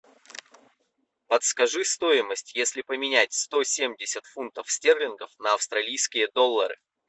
подскажи стоимость если поменять сто семьдесят фунтов стерлингов на австралийские доллары